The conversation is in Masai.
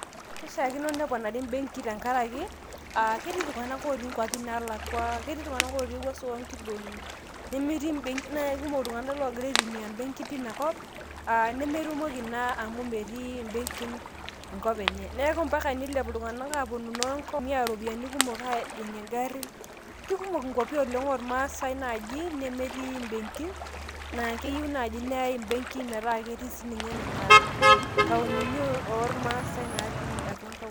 kishaakino neponari imbeki tenkaraki aa ketii iltunaganak otii nkwapi nalakwa ,ketii iltnganak otii ewuaso oonkidongi nimi naa ikmok iltunganak ogira aitmia mbenkin tina kop aa nemetumoki naa amu metii mbenkin enkop enye. neku mpaka nilepu iltunganak noo Ngong ayau iropiyiani kumok ajing ingarin. kikumok inkwapi oormaase naji nemetii mbenkin naa keyieu nai naa keetae mbekin metaa ketii sininche nena taonini oormaasae natii atua Nkaulele.